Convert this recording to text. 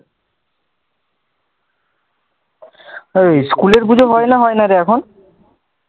হ্যাঁ school এর বুঝি মাইনে হয় নারে এখন